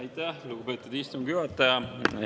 Aitäh, lugupeetud istungi juhataja!